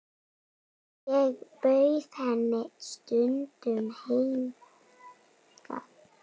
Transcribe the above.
Ég bauð henni stundum hingað.